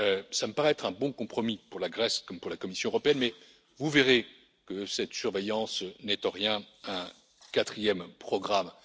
Cela me paraît être un bon compromis pour la Grèce comme pour la Commission européenne, mais vous verrez que cette surveillance n'est en rien un quatrième programme.